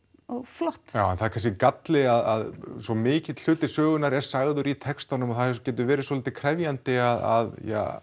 flott já en það er kannski galli að svo mikill hluti sögunnar er sagður í textunum og það getur verið svolítið krefjandi að